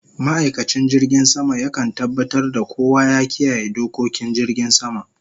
Ma'aikacin jirgin sama ya kan tabatar da kowa ya kiyaye dokokin jirgin sama